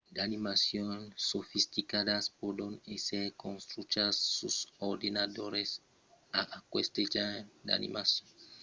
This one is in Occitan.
d'animacions sofisticadas pòdon èsser construchas sus d'ordenadors e aqueste genre d'animacion es cada còp mai utilizat a la television e dins los films